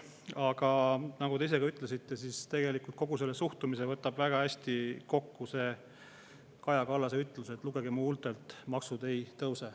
Aga nagu te ise ka ütlesite, siis tegelikult kogu selle suhtumise võtab väga hästi kokku Kaja Kallase ütlus " lugege mu huultelt: maksud ei tõuse.